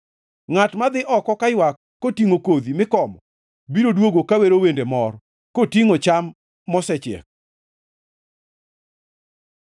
Ngʼat madhi oko kaywak, kotingʼo kodhi mikomo, biro duogo ka wero wende mor, kotingʼo cham mosechiek.